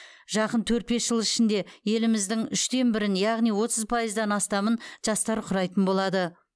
жақын төрт бес жыл ішінде еліміздің үштен бірін яғни отыз пайыздан астамын жастар құрайтын болады